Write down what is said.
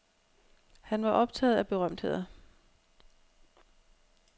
Han var optaget af berømtheder.